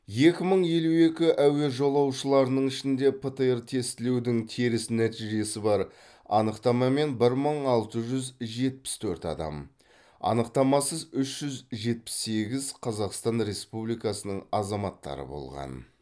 екі мың елу екі әуе жолаушыларының ішінде птр тестілеудің теріс нәтижесі бар анықтамамен бір мың алты жүз жетпіс төрт адам анықтамасыз үш жүз жетпіс сегіз қазақстан республикасының азаматтары болған